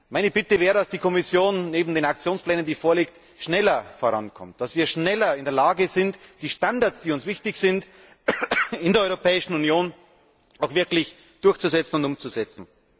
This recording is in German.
Meine Bitte wäre, dass die Kommission neben den vorliegenden Aktionsplänen schneller vorankommt. Dass wir schneller in der Lage sind, die Standards, die uns wichtig sind, in der Europäischen Union auch wirklich durchzusetzen und umzusetzen.